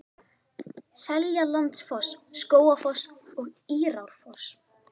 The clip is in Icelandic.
Seljalandsfoss, Skógafoss og Írárfoss.